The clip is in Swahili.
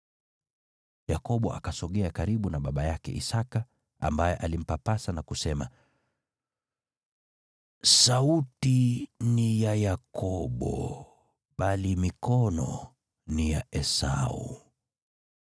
Yakobo akasogea karibu na baba yake Isaki, ambaye alimpapasa na kusema, “Sauti ni ya Yakobo, bali mikono ni ya Esau.”